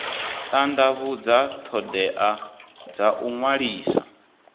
tandavhudza thodea dza u ṅwalisa